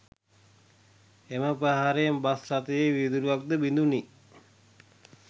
එම ප්‍රහාරයෙන් බස් රථයේ වීදුරුවක්ද බිඳුණි